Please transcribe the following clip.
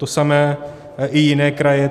To samé i jiné kraje.